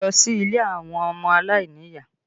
Lọ sí ilé àwọn ọmọ aláìníyàá!